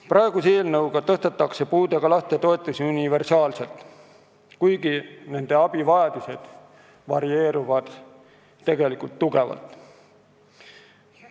Praeguse eelnõuga tõstetakse puudega laste toetusi universaalselt, kuigi abivajadused varieeruvad tugevalt.